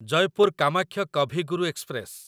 Jaipur Kamakhya Kavi Guru express